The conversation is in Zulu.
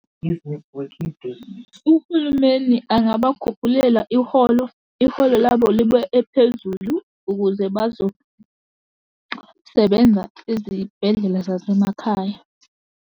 Uhulumeni angabakhuphulela iholo, iholo labo libe ephezulu, ukuze bazosebenza ezibhedlela zasemakhaya.